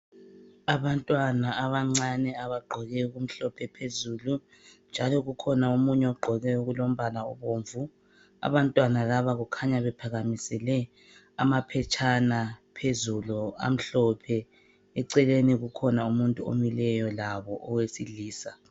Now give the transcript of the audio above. Abantwana abancane abagqoke okumhlophe phezulu njalo ukhona omunye ogqoke okulombala obomvu. Abantwana laba kukhanya bephakamisele amaphetshana phezulu amhlophe. Eceleni kukhona umuntu omileyo labo wesilisa.